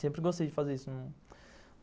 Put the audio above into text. Sempre gostei de fazer isso.